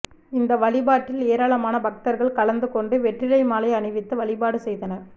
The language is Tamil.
இந்த வழிபாட்டில் ஏராளமான பக்தா்கள் கலந்துகொண்டு வெற்றிலை மாலை அணிவித்து வழிபாடு செய்தனா்